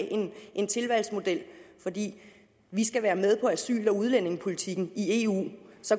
en tilvalgsmodel fordi vi skal være med i asyl udlændingepolitikken i eu